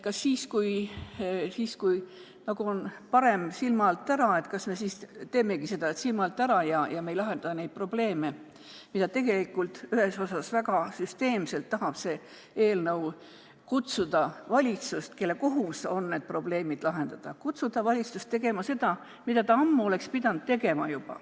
Kas siis, kui nagu on parem, et on silma alt ära, me teemegi seda, mida ta ammu oleks pidanud tegema.